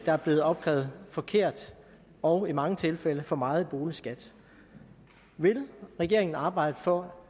er blevet opkrævet forkert og i mange tilfælde for meget i boligskat vil regeringen arbejde for